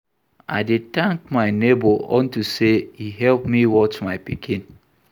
I dey thank my neighbour unto say e help me watch my pikin